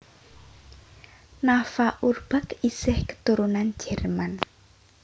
Nafa Urbach isih keturunan Jerman